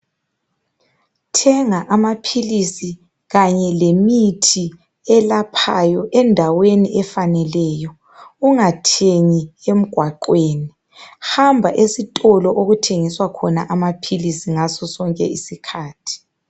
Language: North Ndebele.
Thenga amaphilisi kanye lemithi elaphayo endaweni efaneleyo. Ungathengi emgwaqweni. Hamba esitolo okuthengiswa khona amaphilisi, ngaso sonke isikhathi.